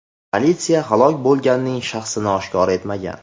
Politsiya halok bo‘lganning shaxsini oshkor etmagan.